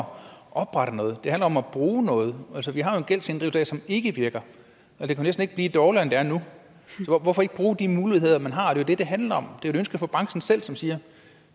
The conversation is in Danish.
oprette noget det handler om at bruge noget altså vi har jo en gældsinddrivelse som ikke virker og det kan næsten ikke blive dårligere end det er nu så hvorfor ikke bruge de muligheder man har det er det handler om det er et ønske fra branchen selv som siger